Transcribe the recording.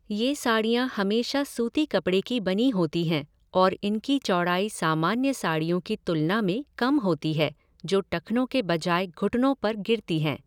ये साड़ियाँ हमेशा सूती कपड़े की बनी होती हैं और इनकी चौड़ाई सामान्य साड़ियों की तुलना में कम होती है, जो टखनों के बजाय घुटनों पर गिरती हैं।